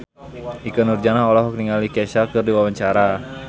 Ikke Nurjanah olohok ningali Kesha keur diwawancara